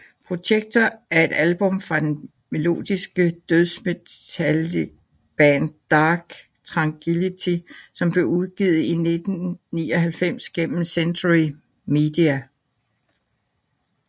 Projector er et album fra det melodiske dødsmetalband Dark Tranquillity som blev udgivet i 1999 gennem Century Media